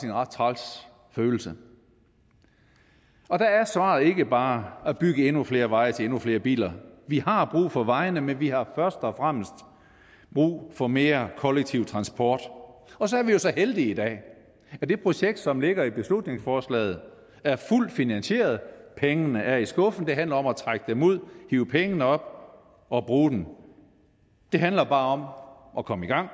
en ret træls følelse og der er svaret ikke bare at bygge endnu flere veje til endnu flere biler vi har brug for vejene men vi har først og fremmest brug for mere kollektiv transport og så er vi jo så heldige i dag at det projekt som ligger i beslutningsforslaget er fuldt finansieret pengene er i skuffen og det handler om at trække den ud hive pengene op og bruge dem det handler bare om at komme i gang